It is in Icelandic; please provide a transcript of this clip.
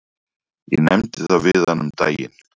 Ég nefndi það við hana um daginn.